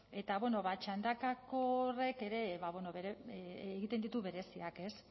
eta bueno ba txandakako horrek ere egiten ditu bereziak ez